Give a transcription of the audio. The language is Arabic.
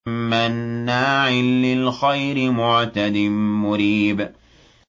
مَّنَّاعٍ لِّلْخَيْرِ مُعْتَدٍ مُّرِيبٍ